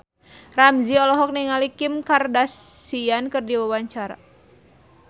Ramzy olohok ningali Kim Kardashian keur diwawancara